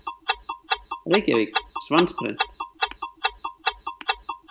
Reykjavík: Svansprent.